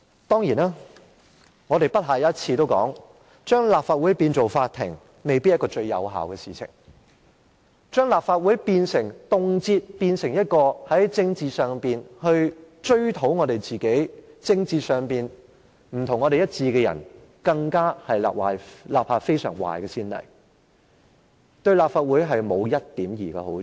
當然，我們已不下一次提出，將立法會變成法庭未必是最有效的做法，而將立法會動輒變成一個平台，追討在政治上與我們不一致的人，更是立下非常壞的先例，對立法會沒有一點兒好處。